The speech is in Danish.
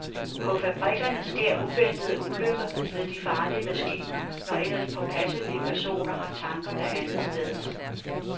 På fabrikkerne sker uventede ulykker ved de farlige maskiner, når ellers påpasselige personer har tankerne andetsteds.